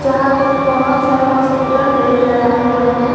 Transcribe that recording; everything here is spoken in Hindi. यहां पे बहोत सारे हॉस्पिटल बेड लगाए हुए हैं।